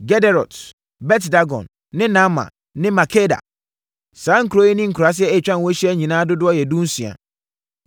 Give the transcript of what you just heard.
Gederot, Bet-Dagon ne Naama ne Makeda. Saa nkuro yi ne nkuraaseɛ a atwa ho ahyia nyinaa dodoɔ yɛ dunsia.